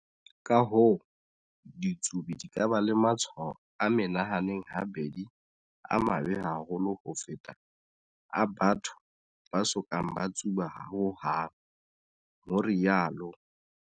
Ka-hoo, ditsubi di ka ba le matshwao a menahaneng habedi a mabe haholo ho feta a batho ba so kang ba tsuba hohang, ho rialo.